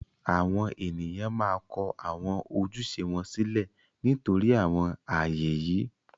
àwọn ènìyàn máa kọ àwọn ojúṣe wọn sílẹ̀ nítorí àwọn ààyè yìí.